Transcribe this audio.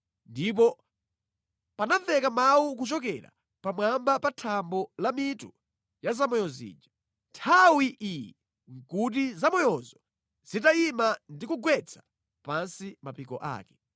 Ndipo panamveka mawu kuchokera pamwamba pa thambo la pa mitu ya zamoyo zija. Nthawi iyi nʼkuti zamoyozo zitayima ndi kugwetsa pansi mapiko ake.